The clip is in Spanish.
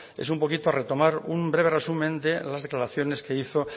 es un poquito retomar un breve resumen de las declaraciones que hizo